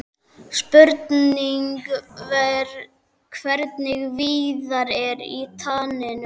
Spurning hvernig Viðar er í taninu?